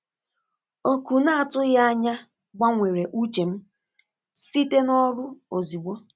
Oku na-atụghị anya gbanwere uche m site n’ọrụ ozugbo.